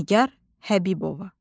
Nigah Həbibova.